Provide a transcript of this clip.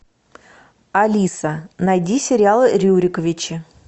алиса найди сериал рюриковичи